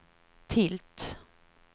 tilt